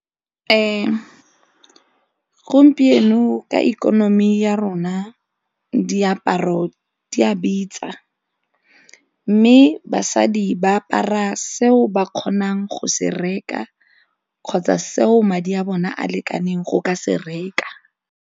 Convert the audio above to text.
Gompieno ka ikonomi ya rona diaparo di a bitsa mme basadi ba apara seo ba kgonang go se reka kgotsa seo madi a bona a lekaneng go ka se reka.